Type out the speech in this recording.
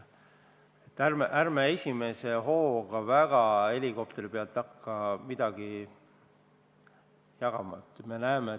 Nii et ärme esimese hooga helikopteri pealt väga midagi jagama hakkame.